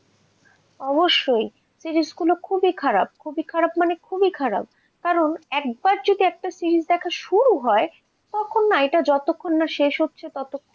অবশ্যই series গুলো খুবই খারাপ, খুবই খারাপ মানে খুবই খারাপ, কারণ একবার যদি একটা series দেখা শুরু হয়, তখন না এটা যতক্ষণ না শেষ হচ্ছে ততক্ষণ,